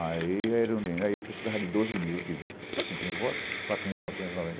Aí a Eurundina eu precisava de doze mil, tive cinco mil votos, quatro mil novecentos e noventa